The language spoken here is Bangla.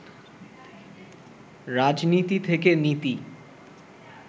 রাজনীতি থেকে নীতি